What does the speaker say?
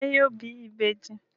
Ṣé yóò bí ìbejì?